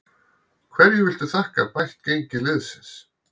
Hverju viltu þakka bætt gengi liðsins?